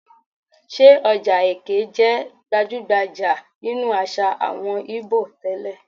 Ṣé ọjà Eké jẹ́ gbajú-gbajà nínú àṣà àwọn Íbò tẹ́lẹ̀?